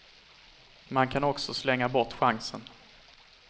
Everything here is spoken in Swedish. Man kan också slänga bort chansen.